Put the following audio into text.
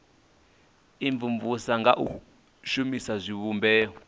imvumvusa nga u shumisa zwivhumbeo